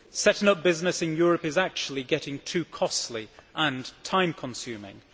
Setting up business in Europe is actually getting too costly and time consuming.